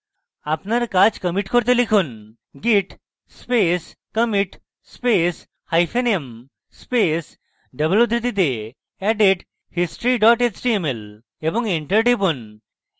আপনার কাজ কমিটি করতে লিখুন: git space commit space hyphen m space double উদ্ধৃতিতে added history html এবং enter টিপুন